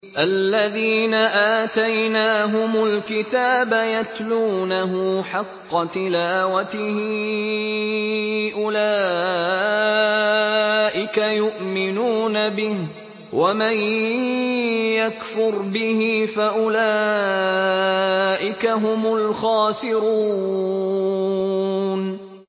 الَّذِينَ آتَيْنَاهُمُ الْكِتَابَ يَتْلُونَهُ حَقَّ تِلَاوَتِهِ أُولَٰئِكَ يُؤْمِنُونَ بِهِ ۗ وَمَن يَكْفُرْ بِهِ فَأُولَٰئِكَ هُمُ الْخَاسِرُونَ